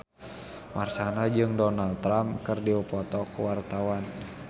Marshanda jeung Donald Trump keur dipoto ku wartawan